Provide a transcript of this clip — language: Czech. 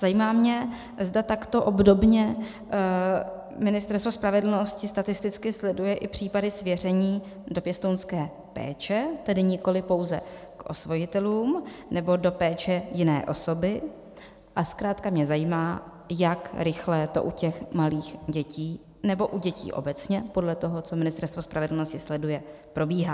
Zajímá mě, zda takto obdobně Ministerstvo spravedlnosti statisticky sleduje i případy svěření do pěstounské péče, tedy nikoliv pouze k osvojitelům, nebo do péče jiné osoby, a zkrátka mě zajímá, jak rychle to u těch malých dětí, nebo u dětí obecně, podle toho, co Ministerstvo spravedlnosti sleduje, probíhá.